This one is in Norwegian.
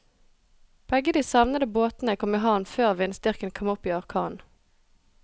Begge de savnede båtene kom i havn før vindstyrken kom opp i orkan.